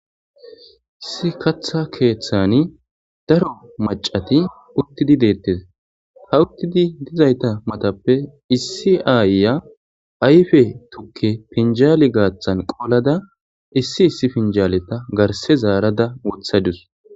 Issi katha keeththani daro macati uttidi deettes. ha uttidi dizayta matappe issi aayya ayfe tukke pinjaali gaaththan qolada issi issi pinjaaleta garse zaarada wothadus.